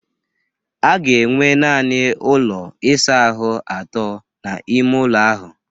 A ga-enwe naanị ụlọ ịsa ahụ atọ n'ime ụlọ ahụ